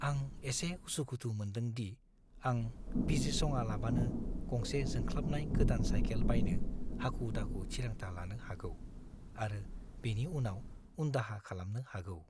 आं एसे उसु-खुथु मोनदों दि आं बिजिरसङालाबानो गंसे जोंख्लाबनाय गोदान साइकेल बायनो हाखु-दाखु थिरांथा लानो हागौ आरो बेनि उनाव उनदाहा खालामनो हागौ।